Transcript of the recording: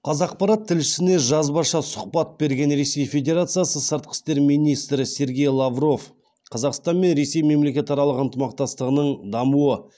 қазақпарат тілшісіне жазбаша сұхбат берген ресей федерациясы сыртқы істер министрі сергей лавров қазақстан мен ресей мемлекетаралық ынтымақтастығының дамуы